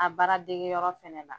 A baara dege yɔrɔ fana la.